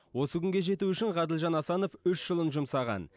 осы күнге жету үшін ғаділжан асанов үш жылын жұмсаған